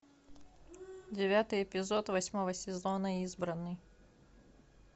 девятый эпизод восьмого сезона избранный